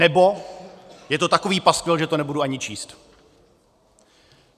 Nebo: je to takový paskvil, že to nebudu ani číst.